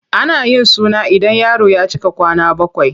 Ana yin suna ida yaro ya cika kwana bakwai.